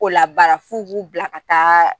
O labaara f'u b'u bila ka taa